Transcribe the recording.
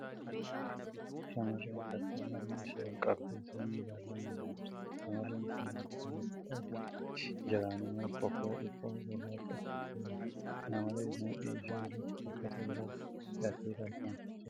Shamarreen takka morma ishee ol qabee samii ilaalaa imalaa jirti. Shamarreen kun gubbaan uffata adii fi jalaan immoo kofoo dhiphoo gurraacha uffattee jirti. Kana malees, mudhii ishee irratti uffata biroo hidhattee tarkaanfachaa jirti.